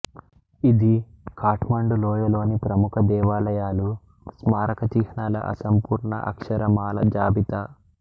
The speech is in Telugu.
ఇది ఖాట్మండు లోయలోని ప్రముఖ దేవాలయాలు స్మారక చిహ్నాల అసంపూర్ణ అక్షరమాల జాబితా